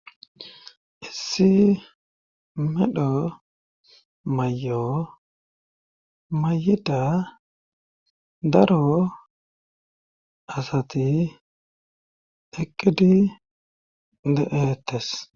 Issi medho mayo mayida daro asati eqqidi de7eettes.